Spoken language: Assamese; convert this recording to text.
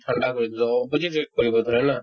ঠাণ্ডা কৰি দিলো opposite react কৰিব